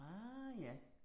Ah, ja